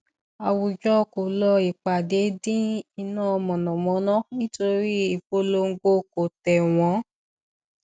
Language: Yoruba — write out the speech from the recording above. àwùjọ kò lọ ìpàdé dín iná mànàmáná nítorí ìpolongo kò tẹwọn